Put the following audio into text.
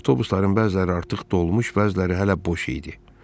Avtobusların bəziləri artıq dolmuş, bəziləri hələ boş idi.